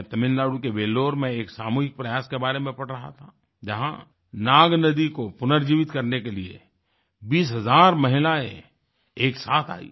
मैं तमिलनाडु के वेल्लोर Velloreमें एक सामूहिक प्रयास के बारे में पढ़ रहा था जहाँ नागनदी Naagnadhiको पुनर्जीवित करने के लिए 20 हजार महिलाएँ एक साथ आई